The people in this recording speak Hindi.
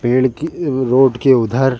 पेड़ कि रोड के उधर--